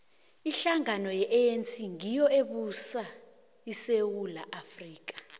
ihlangano ye anc ngiyo ebusa isewula afrika